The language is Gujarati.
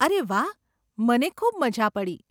અરે વાહ, મને ખૂબ મઝા પડી.